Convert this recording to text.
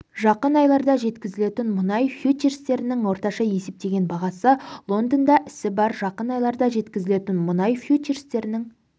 жақын айларда жеткізілетін мұнай фьючерстерінің орташа есептеген бағасы лондонда ісі бар жақын айларда жеткізілетін мұнай фьючерстерінің